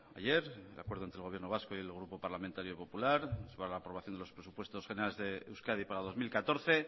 ayer un acuerdo entre el gobierno vasco y el grupo parlamentario popular sobre la aprobación de los presupuestos generales de euskadi para dos mil catorce